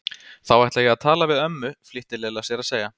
Þá ætla ég að tala við ömmu flýtti Lilla sér að segja.